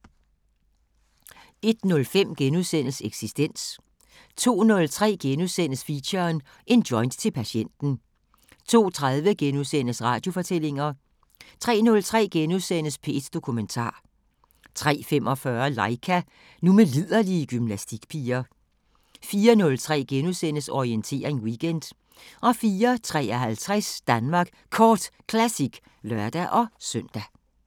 01:05: Eksistens * 02:03: Feature: En joint til patienten * 02:30: Radiofortællinger * 03:03: P1 Dokumentar * 03:45: Laika – nu med liderlige gymnastikpiger 04:03: Orientering Weekend * 04:53: Danmark Kort Classic (lør-søn)